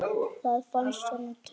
Það fannst honum töff.